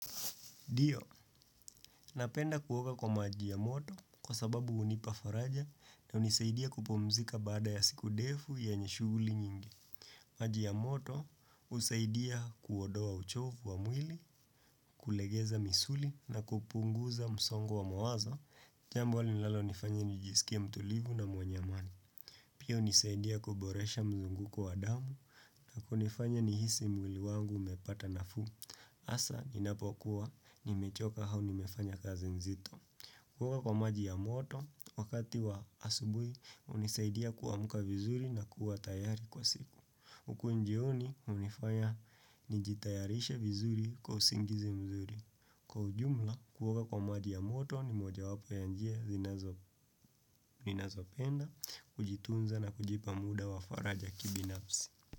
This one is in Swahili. Ndio, napenda kuoga kwa maji ya moto kwa sababu unipa faraja na unisaidia kupumzika baada ya siku ndefu yenye shughuli nyingi. Maji ya moto, usaidia kuondowa uchovu wa mwili, kulegeza misuli na kupunguza msongo wa mawazo, jambo huwa linalalonifanya nijisikia mtulivu na mwenye amani. Pio nisaidia kuboresha mzunguko wa damu na kunifanya nihisi mwili wangu umepata nafuu. Asa, ninapokuwa, nimechoka au nimefanya kazi nzito. Kuoga kwa maji ya moto, wakati wa asubuhi, hunisaidia kuamka vizuri na kuwa tayari kwa siku. Uku jioni unifanya nijitayarisha vizuri kwa usingizi mzuri Kwa ujumla kuoga kwa maji ya moto ni moja wapoyanjia zinazopenda Kujitunza na kujipa muda wa faraja kibinafsi.